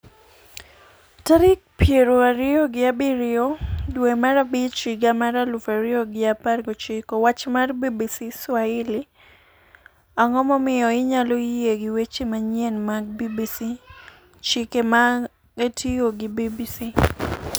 tarik piero ariyo gi abiriyo dwe mar abich higa mar aluf ariyo gi apar gochiko . Wach mar BBC, Swahili. Ang'o momiyo inyalo yie gi weche manyien mag BBC. Chike mag tiyo gi BBC